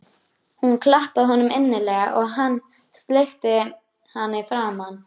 Hún klappaði honum innilega og hann sleikti hana í framan.